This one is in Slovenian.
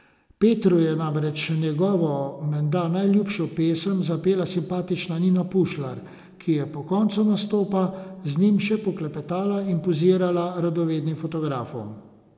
Petru je namreč njegovo menda najljubšo pesem zapela simpatična Nina Pušlar, ki je po koncu nastopa z njim še poklepetala in pozirala radovednim fotografom.